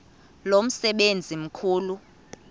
lo msebenzi mkhulu